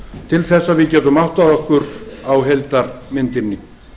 til þess að við getum áttað okkur á heildarmyndinni